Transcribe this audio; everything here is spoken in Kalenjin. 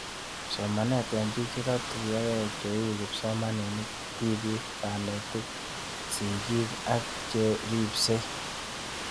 Somanet eng'pik che ka tuyokei cheu kipsomanik, tipik, kanetik , sig'ik ak che ripsei